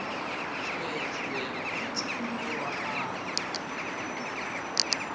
tsweetswee bontsha mogolo wa gago